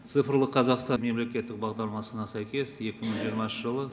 цифрлық қазақстан мемлекеттік бағдарламасына сәйкес екі мың жиырмасыншы жылы